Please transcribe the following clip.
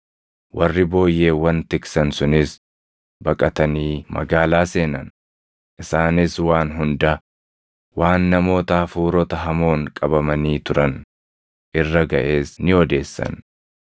Warri booyyeewwan tiksan sunis baqatanii magaalaa seenan; isaanis waan hunda, waan namoota hafuurota hamoon qabamanii turan irra gaʼes ni odeessan.